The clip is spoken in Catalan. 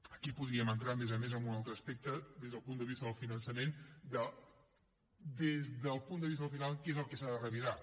aquí podríem entrar a més a més en un altre aspecte des del punt de vista del finançament de des del punt de vista final què és el que s’ha de revisar